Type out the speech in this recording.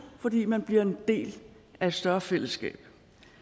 fordi man bliver en del af et større fællesskab